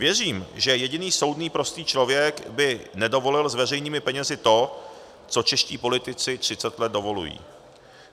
Věřím, že jediný soudný prostý člověk by nedovolil s veřejnými penězi to, co čeští politici třicet let dovolují.